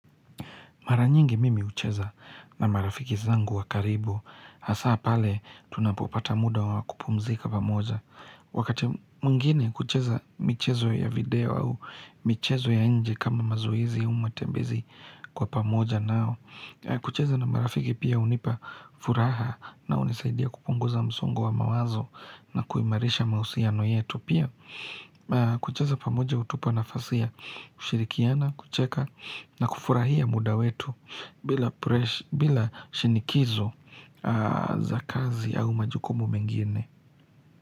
Mara nyingi mimi hucheza na marafiki zangu wakaribu, hasa pale tunapopata muda wakupumzika pamoja. Wakati mwingine hucheza michezo ya video au michezo ya nje kama mazoezi au matembezi kwa pamoja nao. Kucheza na marafiki pia hunipa furaha na hunisaidia kupunguza msongo wa mawazo na kuimarisha mahusiano yetu pia. Kucheza pamoja hutupa nafasi ya ushirikiano, kucheka na kufurahia muda wetu bila shinikizo za kazi au majukumu mengine.